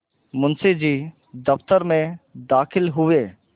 मुंशी जी दफ्तर में दाखिल हुए